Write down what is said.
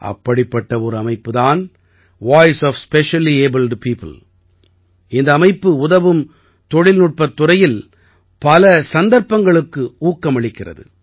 அப்படிப்பட்ட ஒரு அமைப்புத் தான் வாய்ஸ் ஒஃப் ஸ்பெஷலியபிள்ட் பியோப்பிள் இந்த அமைப்பு உதவும் தொழில்நுட்பத் துறையில் புதிய சந்தர்ப்பங்களுக்கு ஊக்கமளிக்கிறது